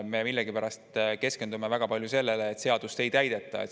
Me millegipärast keskendume väga palju sellele, et seadust ei täideta.